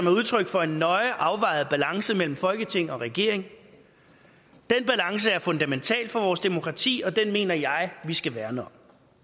er udtryk for en nøje afvejet balance mellem folketing og regering den balance er fundamental for vores demokrati og den mener jeg vi skal værne om